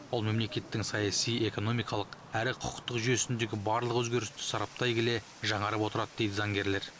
ол мемлекеттің саяси экономикалық әрі құқықтық жүйесіндегі барлық өзгерісті сараптай келе жаңарып отырады дейді заңгерлер